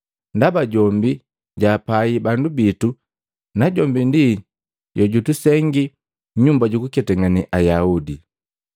ndaba jombi jaapai bandu bitu najombi ndi jojutusengiki Nyumba jukuketangane Ayaudi.”